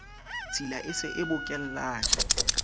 tshila e se e bokellane